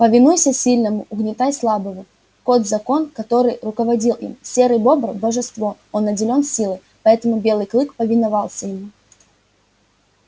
повинуйся сильному угнетай слабого кот закон который руководил им серый бобр божество он наделен силой поэтому белый клык повиновался ему